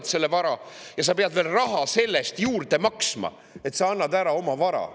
Kui sa võõrandad selle vara, siis sa pead selle eest veel juurde maksma, et sa annad oma vara ära.